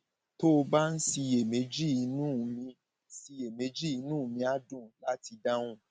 tó o bá ń ṣiyèméjì inú mi ṣiyèméjì inú mi á dùn láti dáhùn